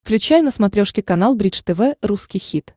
включай на смотрешке канал бридж тв русский хит